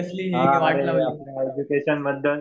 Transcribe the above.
हा अरे आपल्या एज्युकेशन बद्दल.